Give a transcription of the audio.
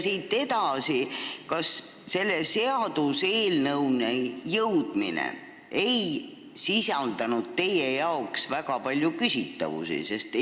Siit edasi: kas selle seaduseelnõuni jõudmine ei sisalda teie arvates väga palju küsitavusi?